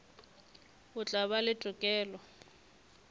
o tla ba le tokelo